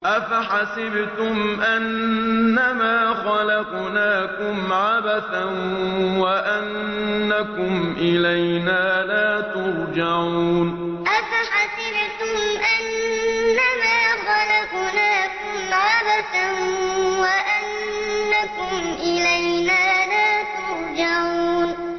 أَفَحَسِبْتُمْ أَنَّمَا خَلَقْنَاكُمْ عَبَثًا وَأَنَّكُمْ إِلَيْنَا لَا تُرْجَعُونَ أَفَحَسِبْتُمْ أَنَّمَا خَلَقْنَاكُمْ عَبَثًا وَأَنَّكُمْ إِلَيْنَا لَا تُرْجَعُونَ